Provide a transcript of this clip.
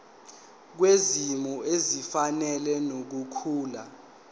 kwisimo esifanele nokukhula